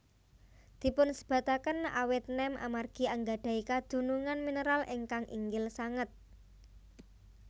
Dipunsebataken awet nem amargi anggadhahi kandhungan mineral ingkang inggil sanget